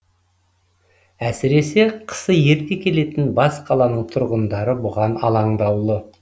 әсіресе қысы ерте келетін бас қаланың тұрғындары бұған алаңдаулы